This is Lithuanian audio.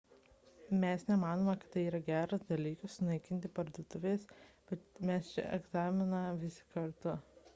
mes nemanome kad tai yra geras dalykas sunaikinti parduotuves bet mes čia egzaminą visi kartu